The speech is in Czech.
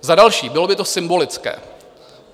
Za další, bylo by to symbolické.